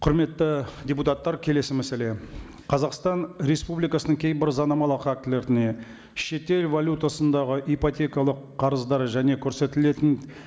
құрметті депутаттар келесі мәселе қазақстан республикасының кейбір заңнамалық актілеріне шетел валютасындағы ипотекалық қарыздар және көрсетілетін